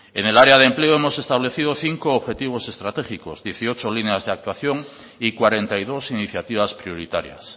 en el área de empleo hemos establecido cinco objetivos estratégicos dieciocho líneas de actuación y cuarenta y dos iniciativas prioritarias